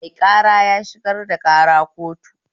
Mai ƙara ya shigar da ƙara kotu